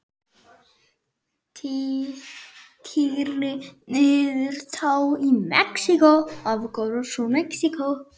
Tylltir niður tá í Mexíkó.